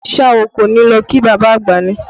Ṣé a kò ní lọ kí bàbá àgbà ni?